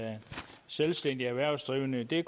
selvstændigt erhvervsdrivende i det